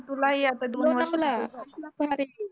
तुलाही आता